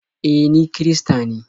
E, ni kirista ne.